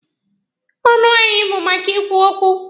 Ọnụ anyị bụ maka ikwu okwu.